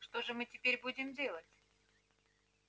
что же мы теперь будем делать